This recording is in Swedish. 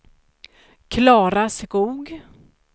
Klara Skoog